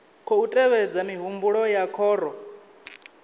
khou tevhedza mihumbulo ya khoro